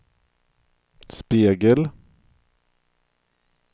spegel